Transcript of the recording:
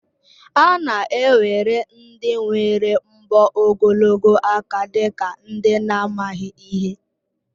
A na-ewere ndị nwere mbọ ogologo aka dị ka ndị na-amaghị ihe